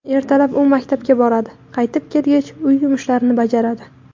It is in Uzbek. Ertalab u maktabga boradi, qaytib kelgach uy yumushlarini bajaradi.